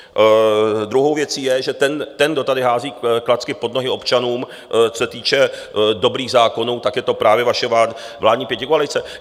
Druhou věcí je, že ten, kdo tady hází klacky pod nohy občanům, co se týče dobrých zákonů, tak je to právě vaše vládní pětikoalice.